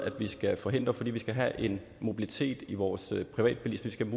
vi skal forhindre fordi vi skal have en mobilitet i vores privatbilisme vi